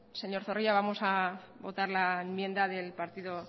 señor zorrilla vamos a votar la enmienda del partido